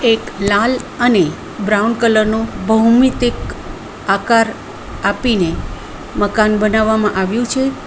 એક લાલ અને બ્રાઉન કલર નો ભૌમિતિક આકાર આપીને મકાન બનાવવામાં આવ્યું છે.